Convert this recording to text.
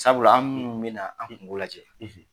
Sabula an munun bɛ na an kungo lajɛ